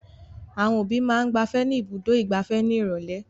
Àwọn òbí máa ń gbafẹ́ ní Ibùdó-ìgbafẹ́ ní ìrọ́lẹ́.